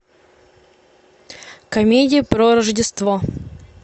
комедия про рождество